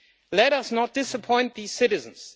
Let us not disappoint these citizens.